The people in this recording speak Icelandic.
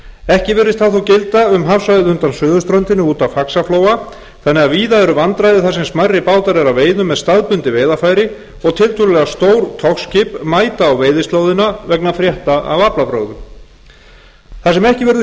ekki virðist það þó gilda um hafsvæðið undan suðurströndinni út af faxaflóa þannig að víða eru vandræði þar sem smærri bátar eru að veiðum með staðbundin veiðarfæri og tiltölulega stór togskip mæta á veiðislóðina vegna frétta af aflabrögðum þar sem ekki verður séð